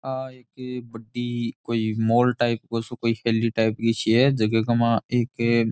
आ एक बड़ी कोई मॉल टाईप गो सो कोई हेली टाईप गी सी है जिंगे के मा एक --